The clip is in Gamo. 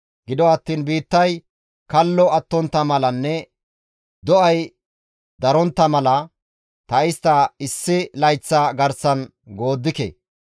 Gido attiin biittay kallo attontta malanne do7ay darontta mala, ta istta issi layththa garsan gooddike.